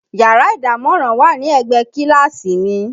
Yàrá ìdámọ̀ràn wà ní ẹ̀gbẹ́ kíláàsì mi